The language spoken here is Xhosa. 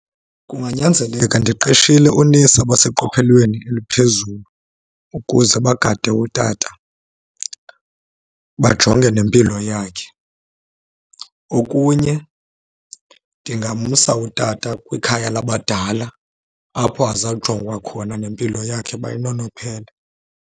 Kunganyanzeleka ndiqeshile oonesi abaseqophelelweni eliphezulu ukuze bagade utata bajonge nempilo yakhe. Okunye, ndingamsa utata kwikhaya labadala apho azawujongwa khona nempilo yakhe baye bayinonophele.